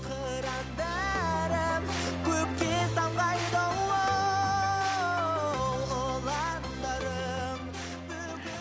қырандарым көкке самғайды ұландарым